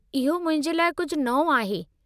इहो मुंहिंजे लाइ कुझु नओं आहे।